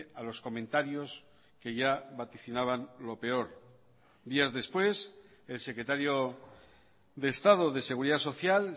a los comentarios que ya vaticinaban lo peor días después el secretario de estado de seguridad social